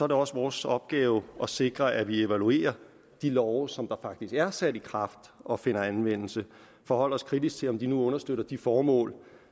det også vores opgave at sikre at vi evaluerer de love som faktisk er sat i kraft og finder anvendelse forholde os kritisk til om de nu understøtter de formål